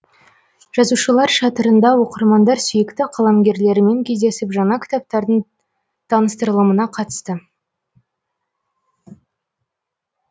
жазушылар шатырында оқырмандар сүйікті қаламгерлерімен кездесіп жаңа кітаптардың таныстырылымына қатысты